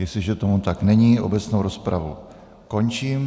Jestliže tomu tak není, obecnou rozpravu končím.